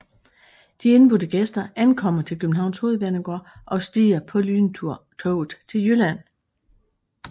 De indbudte gæster ankommer til Københavns Hovedbanegård og stiger på lyntoget til Jylland